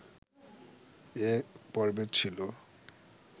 এ পর্বে ছিল